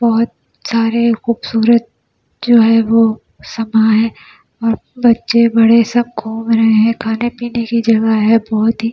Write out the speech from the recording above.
बहुत सारे खूबसूरत जो है वो समा है और बच्चे बड़े सब घूम रहे हैं खाने पीने की जगह है बहुत ही--